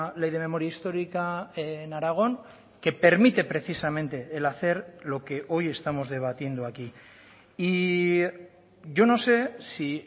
ley de memoria histórica en aragón que permite precisamente el hacer lo que hoy estamos debatiendo aquí y yo no sé si